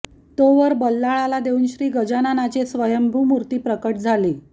तो वर बल्लाळाला देवून श्री गजाननाची स्वयंभू मूर्ती प्रकट झाली